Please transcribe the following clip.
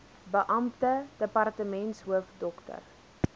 beampte departementshoof dr